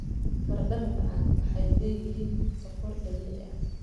Baradhada macaan waxay leeyihiin sokor dabiici ah.